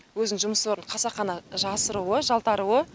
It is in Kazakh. өзінің жұмыс орнын қасақана жасыруы жалтаруы